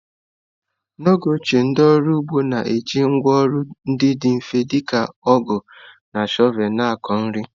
N’oge ochie, ndị ọrụ ugbo na-eji ngwá ọrụ ndị dị mfe dị ka ọgụ na shọvel na-akọ nri.